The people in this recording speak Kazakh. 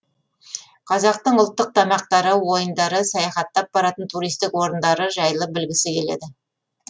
қазақтың ұлттық тамақтары ойындары саяхаттап баратын туристік орындары жайлы білгісі келеді